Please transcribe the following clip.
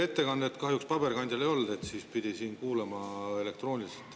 Ettekannet kahjuks paberil ei olnud, seda pidi kuulama ja elektrooniliselt.